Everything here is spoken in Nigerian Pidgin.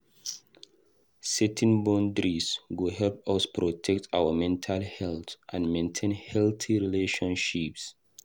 Setting boundaries go help us protect our mental health and maintain healthy relationships.